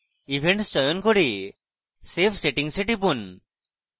events চয়ন করে save settings এ টিপুন